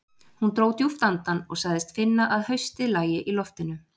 Hún dró djúpt andann og sagðist finna að haustið lægi í loftinu.